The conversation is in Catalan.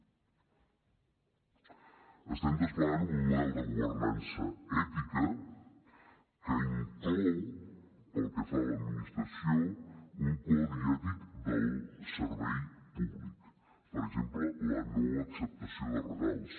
estem desplegant un model de governança ètica que inclou pel que fa a l’administració un codi ètic del servei públic per exemple la no acceptació de regals